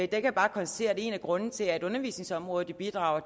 kan bare konstatere at en af grundene til at undervisningsområdet bidrager